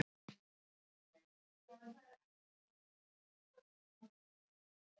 Það var notað til spádóma.